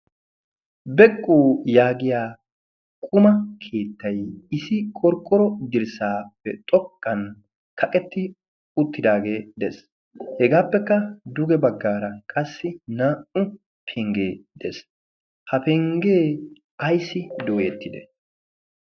beqqu yaagiya quma keettay isi qorqqoro dirssaappe xokkan kaqetti uttidaagee de'es hegaappekka duge baggaara qassi naa"u penggee dees ha penggee ayssi doyeettide